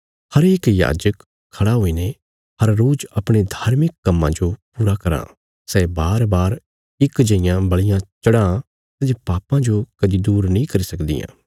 हरेक याजक खड़ा हुईने हर रोज अपणे धार्मिक कम्मां जो पूरा कराँ सै बारबार इक जेईयां बल़ियां चढ़ां सै जे पापां जो कदी दूर नीं करी सकदियां